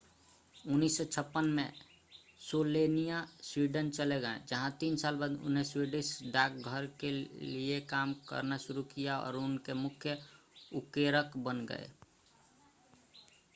1956 में Slania Sweden चले गए जहां तीन साल बाद उन्होंने स्वीडिश डाक घर के लिए काम करना शुरू किया और उनके मुख्य उकेरक बन गए